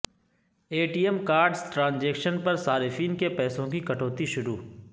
اے T M cards transaction پر صارفین کے پیسوں کی کٹوتی شروع